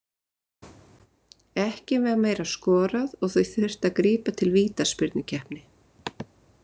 Ekki var meira skorað og því þurfti að grípa til vítaspyrnukeppni.